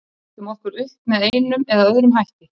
Við ætlum okkur upp með einum eða öðrum hætti.